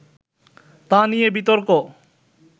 তা নিয়ে বিতর্ক